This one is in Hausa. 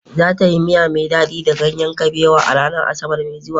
Za ta yi miya mai dadi da ganyen kabewa a ranar Asabar mai zuwa.